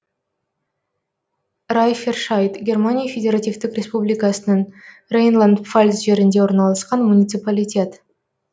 райффершайд германия федеративтік республикасының рейнланд пфальц жерінде орналасқан муниципалитет